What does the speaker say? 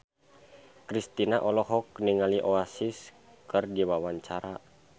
Kristina olohok ningali Oasis keur diwawancara